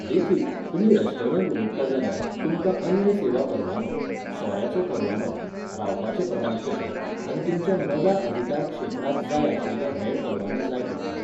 देखीक, तुमी रेस्टॉरंट उगडटात जाल्यार, तुमकां अन्न सेवा परवानो, सोऱ्याचो परवानो, रावपाचें प्रमाणपत्र, आनी तुमच्या नव्या अधिकारक्षेत्राक जाय आशिल्ले हेर परवाने जाय पडटले.